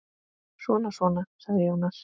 Svona svona, sagði Jónas.